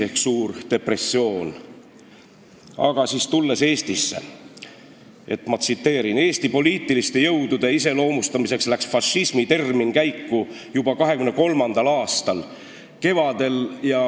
Aga tulles tagasi Eestisse, ma tsiteerin kõigepealt Jaak Valget: "Eesti poliitiliste jõudude iseloomustamiseks läks fašismi termin käiku juba 1923. aasta kevadel.